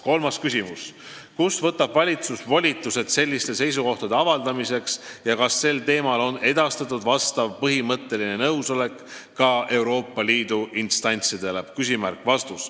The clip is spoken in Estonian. Kolmas küsimus: "Kust võtab valitsus volitused selliste seisukohtade avaldamiseks ja kas sellel teemal on edastatud vastav põhimõtteline nõusolek ka Euroopa Liidu instantsidele?